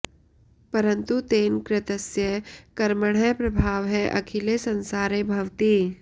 परन्तु तेन कृतस्य कर्मणः प्रभावः अखिले संसारे भवति